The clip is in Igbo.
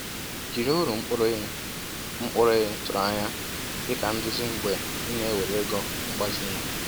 Jiri uru mkpụrụ ị mkpụrụ ị tụrụ anya dịka nduzi mgbe ị na-ewere ego mgbazinye.